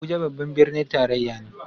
Abuja babban birnin tarayya ne